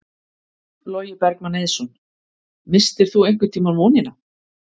Logi Bergmann Eiðsson: Misstir þú einhvern tímann vonina?